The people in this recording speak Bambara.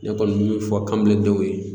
Ne kɔni mi fɔ kamele denw ye